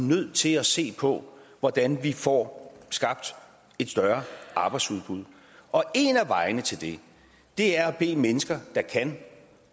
nødt til at se på hvordan vi får skabt et større arbejdsudbud og en af vejene til det er at bede mennesker der kan